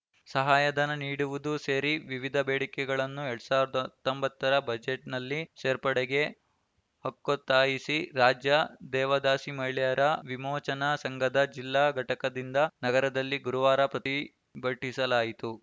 ಸಹಾಯಧನ ನೀಡುವುದೂ ಸೇರಿ ವಿವಿಧ ಬೇಡಿಕೆಗಳನ್ನು ಎರಡ್ ಸಾವಿರದ ಹತ್ತೊಂಬತ್ತರ ಬಜೆಟ್‌ನಲ್ಲಿ ಸೇರ್ಪಡೆಗೆ ಹಕ್ಕೊತ್ತಾಯಿಸಿ ರಾಜ್ಯ ದೇವದಾಸಿ ಮಹಿಳೆಯರ ವಿಮೋಚನಾ ಸಂಘದ ಜಿಲ್ಲಾ ಘಟಕದಿಂದ ನಗರದಲ್ಲಿ ಗುರುವಾರ ಪ್ರತಿಭಟಿಸಲಾಯಿತು